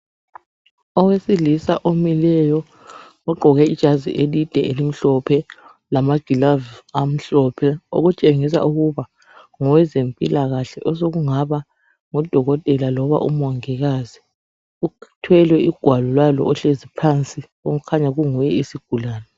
Owesilisa omileyo ogqoke ijazi elide elimhlophe, lama glove amhlophe okutshengisa ukuba ngowe zempilakahle osokungaba ngudokotela loba umongikazi, uthwele ugwalo lalo ohlezi phansi okukhanya kunguye isigulani.